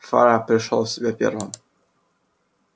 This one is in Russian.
фара пришёл в себя первым